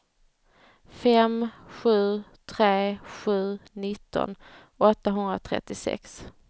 fem sju tre sju nitton åttahundratrettiosex